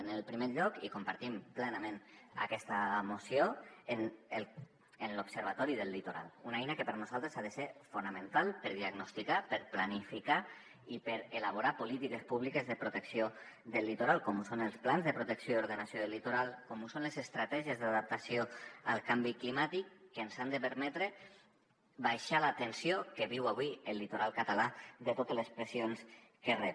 en primer lloc i compartim plenament aquesta moció en l’observatori del litoral una eina que per nosaltres ha de ser fonamental per diagnosticar per planificar i per elaborar polítiques públiques de protecció del litoral com ho són els plans de protecció i ordenació del litoral com ho són les estratègies d’adaptació al canvi climàtic que ens han de permetre abaixar la tensió que viu avui el litoral català de totes les pressions que rep